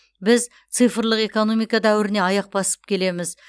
біз цифрлық экономика дәуіріне аяқ басып келеміз